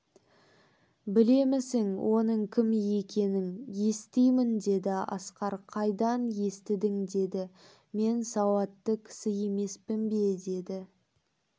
білемісің оның кім екенін естимін деді асқар қайдан естідің деді мен сауатты кісі емеспін бе деді